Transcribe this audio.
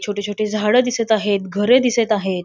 छोटी छोटी झाड दिसत आहेत घरे दिसत आहेत.